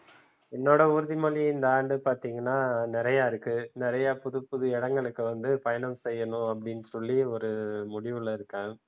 என்னோட உறுதிமொழி இந்த ஆண்டு பாத்தீங்கன்னா நிறைய இருக்கு நிறைய புதுப்புது இடங்களுக்கு வந்து பயணம் செய்யணும் அப்படின்னு சொல்லி ஒரு முடிவுல இருக்கேன்.